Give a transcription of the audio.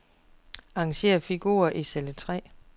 Arrangér figurer i celle tre.